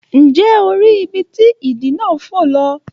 Nje o ri ibi ti idì náà fo lọ?